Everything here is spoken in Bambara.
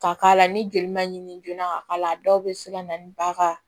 Ka k'a la ni joli man ɲi joona ka k'a la a dɔw bɛ se ka na ni ba ka